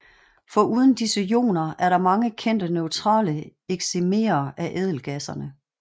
Foruden disse ioner er der mange kendte neutrale excimerer af ædelgasserne